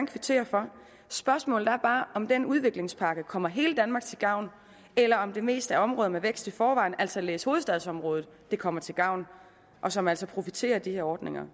kvittere for spørgsmålet er bare om den udviklingspakke kommer hele danmark til gavn eller om det mest er områder med vækst i forvejen altså læs hovedstadsområdet det kommer til gavn og som altså profiterer af de her ordninger